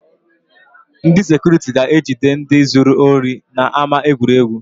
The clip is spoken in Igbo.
Ndị sekuriti ga-ejide ndị zuru ohi n’ama egwuregwu